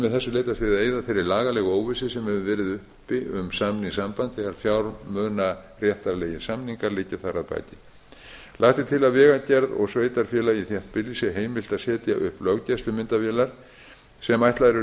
með þessu leitast við að eyða þeirri lagalegu óvissu sem hefur verið uppi um samningssamband þegar fjármunaréttarlegir samningar liggja þar að baki lagt er til að vegagerð og sveitarfélagi í þéttbýli sé heimilt að setja upp löggæslumyndavélar sem ætlaðar eru